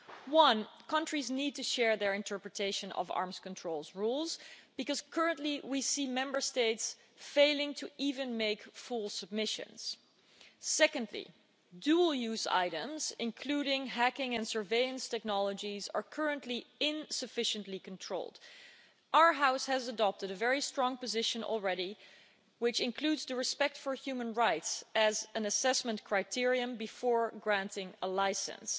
Firstly, countries need to share their interpretation of arms controls rules, because currently we see Member States failing to even make four submissions. Secondly, dual-use items, including hacking and surveillance technologies, are currently insufficiently controlled. Our House has adopted a very strong position already, which includes respect for human rights as an assessment criterion before granting a license,